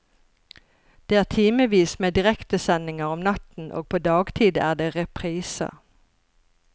Det er timevis med direktesendinger om natten, og på dagtid er det repriser.